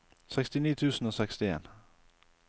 sekstini tusen og sekstien